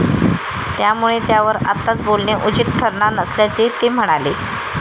त्यामुळे त्यावर आत्ताच बोलणे उचित ठरणार नसल्याचे ते म्हणाले.